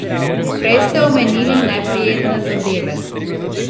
Prej ste omenili neprijetne zadeve.